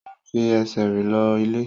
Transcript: O n fi ẹsẹ̀ rìn lọ ilé.